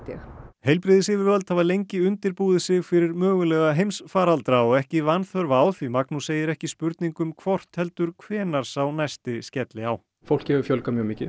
heilbrigðisyfirvöld hafa lengi undirbúið sig fyrir mögulega heimsfaraldra og ekki vanþörf á því Magnús segir ekki spurning um hvort heldur hvenær sá næsti skelli á fólki hefur fjölgað mjög mikið